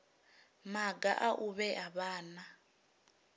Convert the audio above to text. maga a u vhea vhana